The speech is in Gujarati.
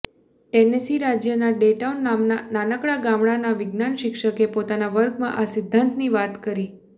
ટેનેસી રાજ્યના ડેટાઉન નામના નાનકડા ગામડાના વિજ્ઞાન શિક્ષકે પોતાના વર્ગમાં આ સિદ્ધાંતની વાત કરી